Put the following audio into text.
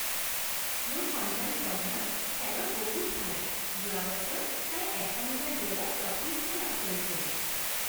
মোৰ সন্তান পদ্মা খেলত বহুত ভাল। যোৱা বছৰ তাই এশ মিটাৰ দৌৰত প্ৰথম স্থান লাভ কৰিছিল।